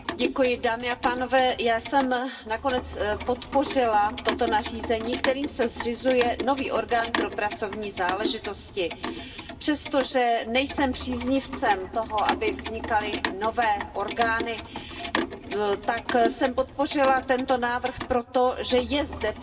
Pane předsedající, já jsem nakonec podpořila toto nařízení, kterým se zřizuje nový orgán pro pracovní záležitosti. Přestože nejsem příznivcem toho, aby vznikaly nové orgány, tak jsem podpořila tento návrh, protože je zde potřeba